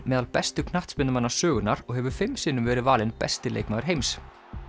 meðal bestu knattspyrnumanna sögunnar og hefur fimm sinnum verið valinn besti leikmaður heims